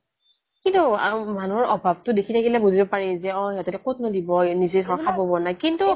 কিন্তু মানুহৰ অভাৱ তো দেখি থাকিলে বুজিব পাৰি যে অ' এখেতে ক'তনো দিব নিজেই খাব পোৱা নাই